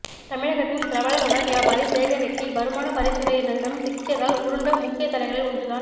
தமிழகத்தின் பிரபல மணல் வியாபாரி சேகர் ரெட்டி வருமான வரி துறையினரிடம் சிக்கியதால் உருண்ட முக்கிய தலைகளில் ஒன்றுதான்